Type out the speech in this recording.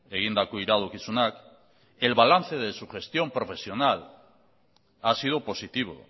egindako iradokizunak el balance de su gestión profesional ha sido positivo